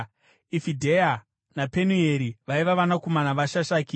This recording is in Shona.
Ifidheya naPenueri vaiva vanakomana vaShashaki.